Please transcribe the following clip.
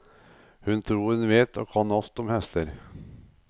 Hun tror hun vet og kan alt om hester.